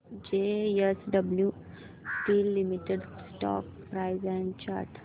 JSW steel limited stock price and chart